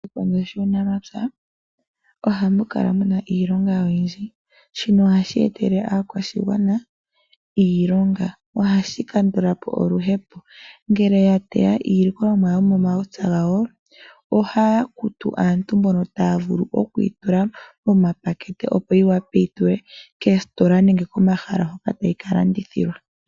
Oshikondo shuunamapya ohamu kala mu na iilonga oyindji, shino ohashi etele aakwashigwana iilonga. Ohashi kandula po oluhepo. Ngele ya teya iilikolomwa yomomapya gawo, ohaya kutu aantu mbono taya vulu okuyi tula momapakete, opo yi wape okuyi falwe koositola nenge komahala hoka tayi ka landithilwa.